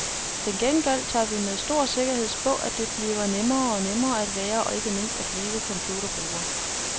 Til gengæld tør vi med stor sikkerhed spå, at det stadig bliver nemmere og nemmere at være og ikke mindst at blive computerbruger.